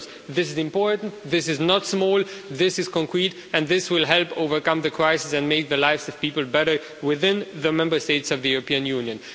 This is important, this is not small, this is concrete, and this will help overcome the crisis and make the lives of people better within the Member States of the European Union.